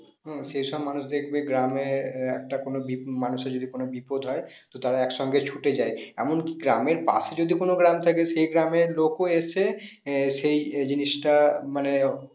আহ সেই সব মানুষদের যদি গ্রামে একটা কোনো মানুষের যদি কোনো বিপদ হয় তো তারা এক সঙ্গে ছুটে যায়। এমন কি গ্রামের পাশে যদি কোনো গ্রাম থাকে সে গ্রামের লোকও এসে আহ সেই জিনিসটা মানে